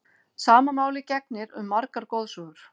Sama máli gegnir um margar goðsögur.